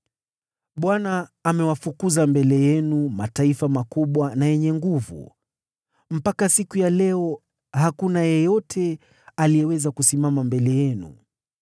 “ Bwana amewafukuza mbele yenu mataifa makubwa na yenye nguvu, mpaka siku ya leo hakuna yeyote aliyeweza kusimama mbele yenu.